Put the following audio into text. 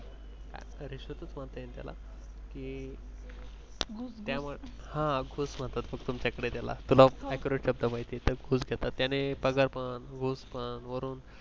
रिश्वतच म्हणता येईल त्याला की ते त्यावर ह घुस मनतात तुमच्याकडे त्याला तुला accurate हा शब्द माहिती आहे त्याला पगार म्हण घुस म्हण